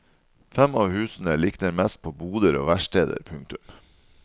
Fem av husene likner mest på boder og verksteder. punktum